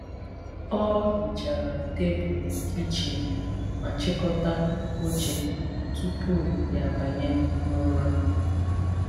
Ọ hichara tebụl kichin ma chịkọta oche tupu ya abanye n’ụra.